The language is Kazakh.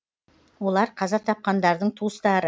олар қаза тапқандардың туыстары